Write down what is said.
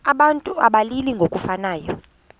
abantu abalili ngokufanayo